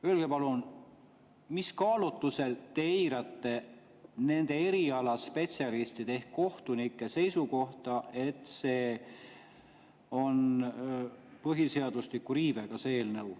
Öelge palun, mis kaalutlustel te eirate nende erialaspetsialistide ehk kohtunike seisukohta, et see eelnõu on põhiseaduse riivega?